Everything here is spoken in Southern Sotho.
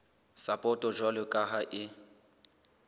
sapoto jwalo ka ha e